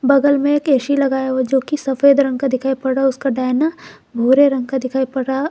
बगल में एक ए_सी लगाया हुआ जो कि सफेद रंग का दिखाई पड़ रहा उसका डायना भूरे रंग का दिखाई पड़ा रहा।